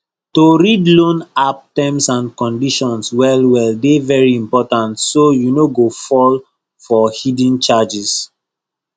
to read loan app terms and conditions well well dey very important so you no go fall for hidden charges